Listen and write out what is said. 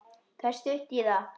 Það er stutt í það.